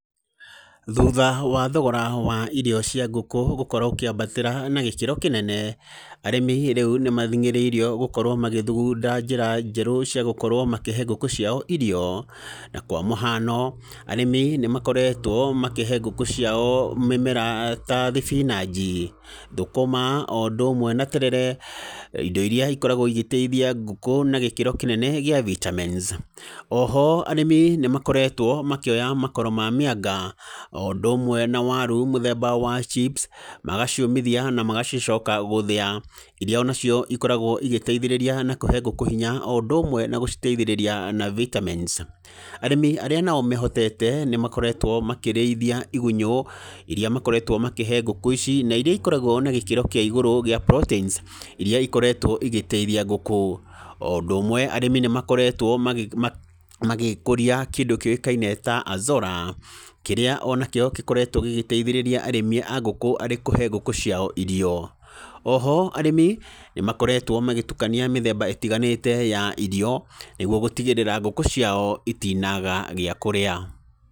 Thutha wa thogora wa irio cia ngũkũ gũkorwo ũkĩambatĩra na gĩkĩro kĩnene, arĩmi rĩu nĩ mathingĩrĩirio gũkorwo makĩthugunda njĩra njerũ cia gũkorwo makĩhe ngũkũ ciao irio, na kwamũhano arĩmi nĩ makoretwo makĩhe ngũkũ ciao mĩmera ta thibinanji, thũkũma, o ũndũ ũmwe na terere, indo iria ikoragwo igĩteithia ngũkũ na gĩkĩro kĩnene gĩa vitamins oho arĩmi nĩ makoretwo makĩoya makoro ma mĩanga, o ũndũ ũmwe na waru mũthemba wa chips magaciũmithia, na magacicoka gũthĩya, iria onacio ikoragwo igĩteithĩrĩria na kũhe ngũkũ hinya o ũndũ ũmwe na gũcioteithĩrĩrfia na vitamins, arĩmi arĩa nao mehotete, nĩ makoretwo makĩrĩthia igunyũ, iria makoretwo makĩhe ngũkũ ici, na iria ikoragwo na gĩkĩro kĩa igũrũ kĩa proteins, iria ikoretwo igĩteithia ngũkũ, o ũndũ ũmwe arĩmi nĩ makoretwo magĩ magĩkũria kĩndũ kĩoĩkaine ta Azora, kĩrĩa onakĩo gĩkoretwo gĩgĩteithĩrĩria arĩmi a ngũkũ arĩ kũhe ngũkũ ciao irio, oho arĩmi nĩ makoretwo magĩtukania mĩthemba ĩtiganĩte ya irio nĩguo gũtigĩrĩra ngũkũ ciao itinaga gĩakũrĩa.